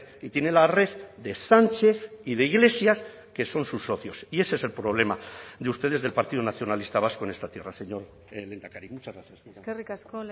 y tiene la red de sánchez y de iglesias que son sus socios y ese es el problema de ustedes del partido nacionalista vasco en esta tierra señor lehendakari muchas gracias eskerrik asko